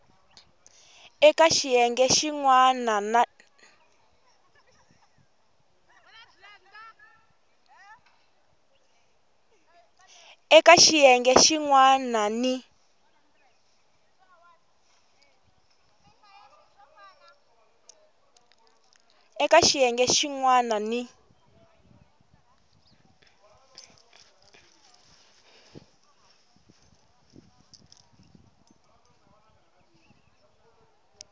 eka xiyenge xin wana ni